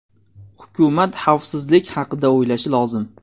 Hukumat xavfsizlik haqida o‘ylashi lozim.